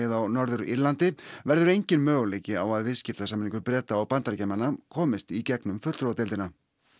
á Norður Írlandi verði enginn möguleiki á að viðskiptasamningur Breta og Bandaríkjamanna komist í gegnum fulltrúadeildina